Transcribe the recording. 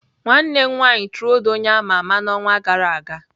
Nwanne m nwanyị trolled onye ama ama n'ọnwa gara aga.